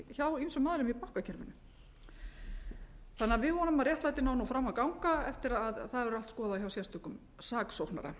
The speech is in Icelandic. aðilum í bankakerfinu við vonum því að réttlætið nái nú fram að ganga eftir að það verður allt skoðað hjá sérstökum saksóknara